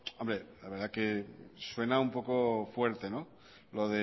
la verdad es que suena un poco fuerte lo